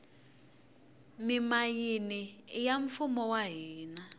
mimayini iya mfumo wa hina